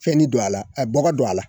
Fɛnni don a la bɔgɔ don a la